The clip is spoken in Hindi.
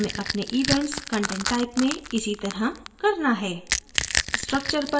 अब हमें अपने events content type में इसी तरह करना है